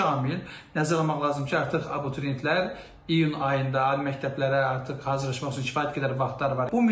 Burda birinci amil nəzərə almaq lazımdır ki, artıq abituriyentlər iyun ayında ali məktəblərə artıq hazırlaşmaq üçün kifayət qədər vaxtları var.